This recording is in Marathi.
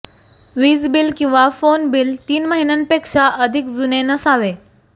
वीज बिल किंवा फोन बिल तीन महिन्यांपेक्षा अधिक जुने नसावे